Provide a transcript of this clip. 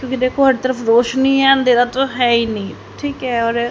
क्योकि देखो हर तरफ रोशनी है अंधेरा तो है ही नहीं ठीक है और--